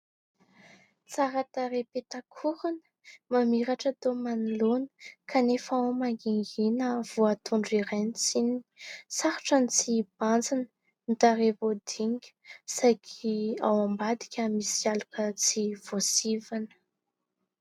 Tsara tarehy petak'orona mamiratra tao manoloana kanefa ao mangingiana voatondro iray ny tsininy, sarotra ny tsy hibanjina ny tarehy voadinika saingy ao ambadika misy aloka tsy voasivana.